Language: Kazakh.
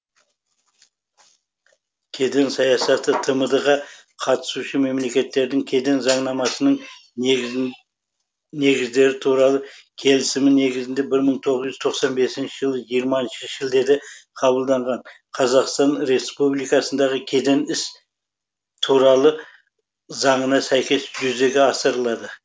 кеден саясаты тмд ға қатысушы мемлекеттердің кеден заңнамасының негіздері туралы келісімі негізінде бір мың тоғыз жүз тоқсан бесінші жылы жиырмасыншы шілдеде қабылданған қазақстан республикасындағы кеден ісі туралы заңына сәйкес жүзеге асырылды